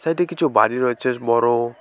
Side -এ কিছু বাড়ি রয়েছে বড়।